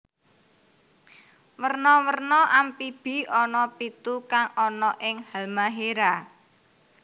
Werna werna Amphibi ana pitu kang ana ing Halmahera